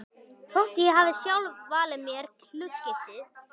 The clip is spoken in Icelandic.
Þótt ég hafi sjálf valið mér hlutskiptið.